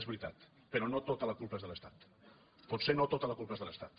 és veritat però no tota la culpa és de l’estat potser no tota la culpa és de l’estat